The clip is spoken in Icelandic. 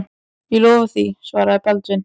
Ég lofa því, svaraði Baldvin.